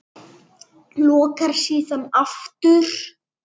Lokar síðan aftur.